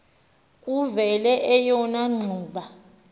kuvele eyona ngxuba